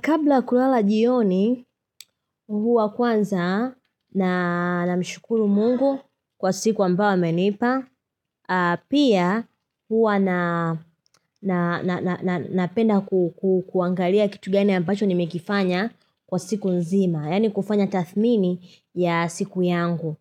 Kabla kulala jioni, huwa kwanza namshukuru mungu kwa siku ambao amenipa, pia huwa napenda kuangalia kitu gani ambacho nimekifanya kwa siku nzima, yani kufanya tathmini ya siku yangu,